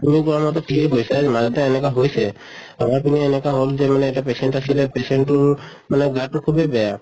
তুমি কোৱা মতে ঠিকে কৈছা, মাজতে এনেকা হৈছে। আমাৰ পিনে এনেকা হʼল যে মানে এটা patient আছিলে, patient টোৰ মানে গাতো খুবে বেয়া